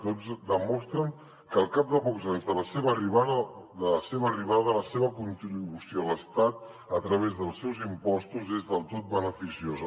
tots demostren que al cap de pocs anys de la seva arribada la seva contribució a l’estat a través dels seus impostos és del tot beneficiosa